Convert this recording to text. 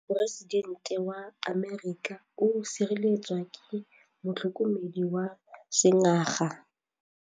Poresitêntê wa Amerika o sireletswa ke motlhokomedi wa sengaga.